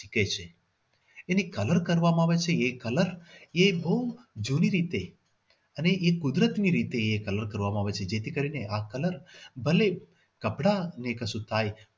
ઈચ્છે છે. એને colour કરવામાં આવે છે colour એ બહુ જૂની રીતે અને એ કુદરતી રીતે એ colour કરવામાં આવે છે જેથી કરીને આ colour ભલે કપડા ને કશુંક થાય